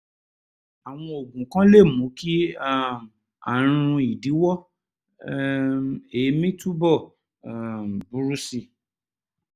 àwọn oògùn kan lè mú kí um ààrùn ìdíwọ́ um èémí túbọ̀ um burú sí i